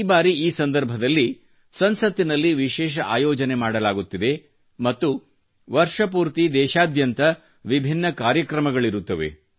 ಈ ಬಾರಿ ಈ ಸಂದರ್ಭದಲ್ಲಿ ಸಂಸತ್ತಿನಲ್ಲಿ ವಿಶೇಷ ಆಯೋಜನೆ ಮಾಡಲಾಗುತ್ತಿದೆ ಮತ್ತು ವರ್ಷ ಪೂರ್ತಿ ದೇಶಾದ್ಯಂತ ವಿಭಿನ್ನ ಕಾರ್ಯಕ್ರಮಗಳಿರುತ್ತವೆ